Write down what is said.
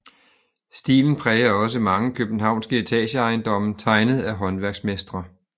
Stilen præger også mange københavnske etageejendomme tegnet af håndværksmestre